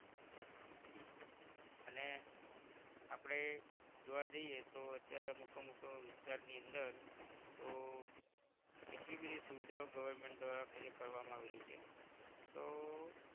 આપણે જોવા જઇયે તો અત્યારે અમુક અમુક વિસ્તાર ની અંદર તો એટલી બધી સુવિધાઓ government દ્વારા project કરવામાં આવેલી છે તો